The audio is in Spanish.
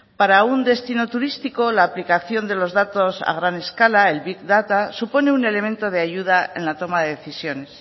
para un destino turístico la aplicación de los datos a gran escala el big data supone un elemento de ayuda en la toma de decisiones